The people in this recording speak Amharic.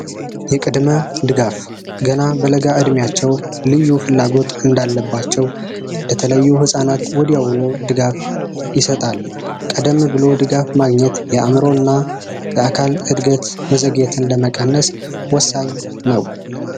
የቅድመ ድጋፍ ገና በለጋ እድሜያቸው ልዩ ፍላጎት እንዳለባቸው በተለዩ ህፃናት ወዲያውኑ ድጋፍ ይሰጣል። ቀደም ብሎ ድጋፍ ማግኘትየአእምሮ እና የአካል መዘግየትን ለመቀነስ ወሳኝ ነው።